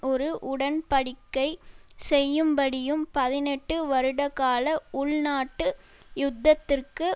ஒரு உடன் படிக்கை செய்யும்படியும் பதினெட்டு வருடகால உள்நாட்டு யுத்தத்துக்கு